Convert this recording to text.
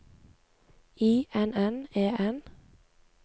I N N E N